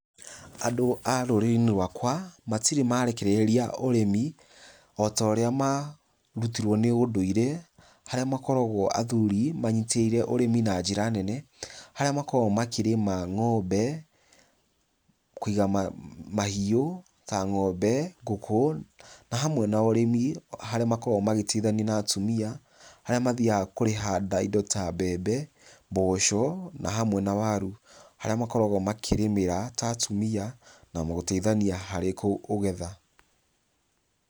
Andũ a rũrĩrĩ-inĩ rwakwa matirĩ marekereria ũrĩmi, o ta ũrĩa marũtmirwo nĩ ũndũire harĩa makoragwo athuri manyitĩrĩire ũrĩmi na njĩra nene, harĩa makoragwo makĩrĩma ng'ombe kũiga mahiũ ta ng'ombe, ngũkũ, na hamwe na ũrĩmi, harĩa makoragwo magĩteithania na atumia, harĩa mathiaga kũrĩha indo ta mbembe, mboco na hamwe na waru harĩa makoragwo makĩrĩmĩra ta atumia na gũteithania harĩ kũgetha.